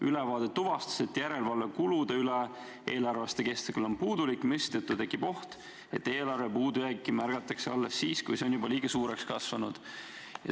Ülevaade ka tuvastas, et järelevalve kulude üle eelarveaasta kestel on puudulik, mistõttu tekib oht, et eelarve puudujääki märgatakse alles siis, kui see on juba liiga suureks kasvanud.